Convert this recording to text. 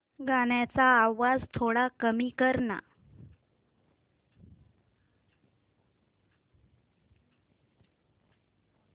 गाण्याचा आवाज थोडा कमी कर ना